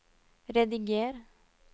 rediger